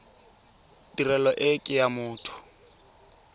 tirelo e ke ya motho